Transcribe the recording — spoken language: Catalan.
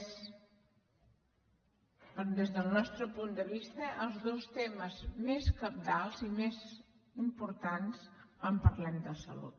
són des del nostre punt vista els dos temes més cabdals i més importants quan parlem de salut